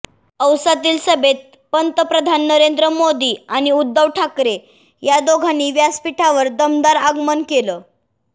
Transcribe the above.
औसातील सभेत पंतप्रधान नरेंद्र मोदी आणि उद्धव ठाकरे या दोघांनी व्यासपीठावर दमदार आगमन केलं